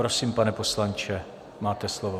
Prosím, pane poslanče, máte slovo.